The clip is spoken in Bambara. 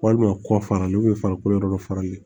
Walima kɔ fara n'u ye farikolo yɔrɔ dɔ fara ne